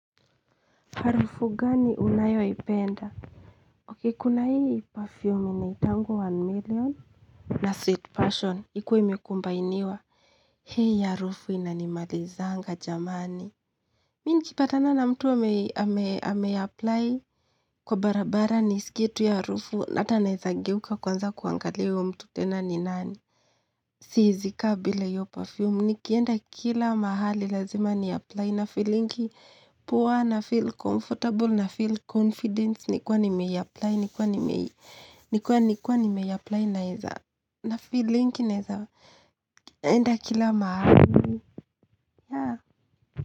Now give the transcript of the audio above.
Harufu gani unayo ipenda? Ok, kuna hii perfume inaitangwa one million na sweet passion ikuwe imekumbainiwa hii harufu inanimalizanga jamani. Mi niki patana na mtu ame apply kwa barabara ni skie tu hiyo harufu hata naezageuka kwanza kuangalia huyo mtu tena ni nani. Siezikaa bila hiyo perfume Nikienda kila mahali Lazima ni apply na feelingi poa na feel comfortable na feel confident Nikiwa nimei apply Nikiwa nimei apply naeza na feelingi naeza enda kila mahali.